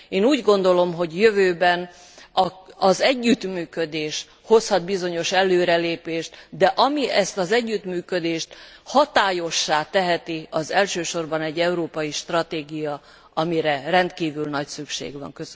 Én úgy gondolom, hogy a jövőben az együttműködés hozhat bizonyos előrelépést, de ami ezt az együttműködést hatályossá teheti, az elsősorban egy európai stratégia, amire rendkívül nagy szükség van.